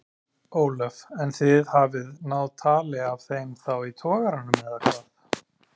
Ólöf: En þið hafið náð tali af þeim þá í togaranum eða hvað?